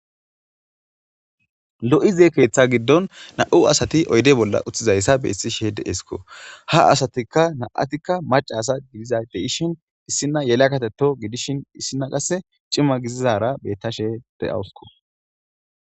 Lo'izee keeththa giddon na'u asati oyde bolla uttizayssa beessi she deeesko ha asatikka na'atikka maca asa gidiza deishin issina yela katetto gidishin issinna qasse cima gizizara bettashe deyawusko.